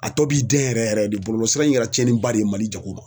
A tɔ b'i den yɛrɛ yɛrɛ de bɔlɔlɔsira in yɛrɛ tiɲɛniba de ye Mali jago ma